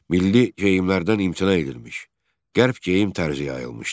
Milli geyimlərdən imtina edilmiş, qərb geyim tərzi yayılmışdı.